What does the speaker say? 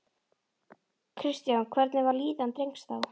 Kristján: Hvernig var líðan drengs þá?